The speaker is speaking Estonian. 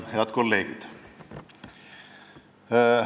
Head kolleegid!